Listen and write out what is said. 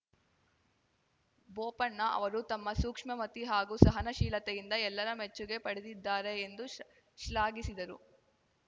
ಬೋಪಣ್ಣ ಅವರು ತಮ್ಮ ಸೂಕ್ಷ್ಮಮತಿ ಹಾಗೂ ಸಹನಾಶೀಲತೆಯಿಂದ ಎಲ್ಲರ ಮೆಚ್ಚುಗೆ ಪಡೆದಿದ್ದಾರೆ ಎಂದು ಶ್ಲಾಘಿಸಿದರು